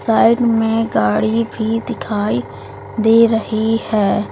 Side में गाड़ी भी दिखाई दे रही है।